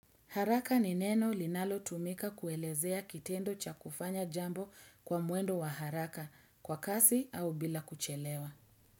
Haraka ni neno linalo tumika kuelezea kitendo cha kufanya jambo kwa mwendo wa haraka kwa kasi au bila kuchelewa.